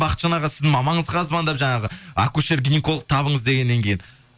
бахытжан аға сіздің мамаңызға звондап жаңағы акушер гинеколог табыңыз дегеннен кейін